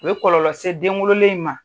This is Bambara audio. U ye kɔlɔlɔ sɛ den wololen in ma.